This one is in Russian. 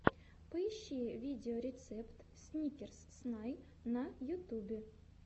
поищи видеорецепт сникерс снай на ютубе